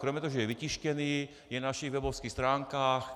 Kromě toho, že je vytištěný, je na našich webových stránkách.